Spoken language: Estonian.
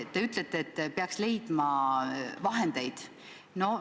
Te ütlete, et peaks leidma vahendeid.